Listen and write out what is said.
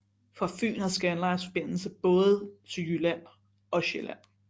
Fra Fyn har Scandlines forbindelse til både Jylland og Sjælland